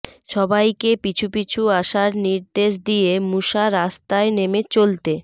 সবাইকে পিছু পিছু আসার নির্দেশ দিয়ে মুশা রাস্তায় নেমে চলতে